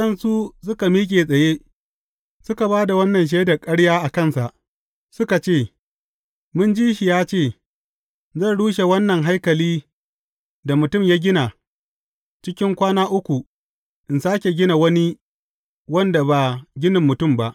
Sai waɗansu suka miƙe tsaye, suka ba da wannan shaida ƙarya a kansa, suka ce, Mun ji shi ya ce, Zan rushe wannan haikali da mutum ya gina, cikin kwana uku, in sāke gina wani wanda ba ginin mutum ba.’